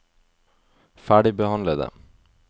ferdigbehandlede